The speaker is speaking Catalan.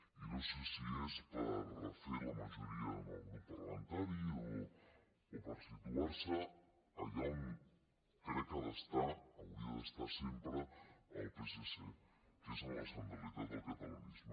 i no sé si és per refer la majoria en el grup parlamentari o per situar se allà on crec que ha d’estar hauria d’estar sempre el psc que és en la centralitat del catalanisme